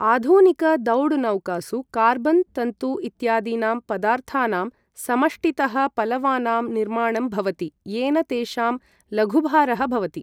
आधुनिकदौड नौकासु कार्बन तन्तु इत्यादीनां पदार्थानां समष्टितः पलवानां निर्माणं भवति येन तेषां लघुभारः भवति ।